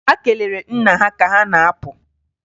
Ha kelere nna ha ka ha na-apụ.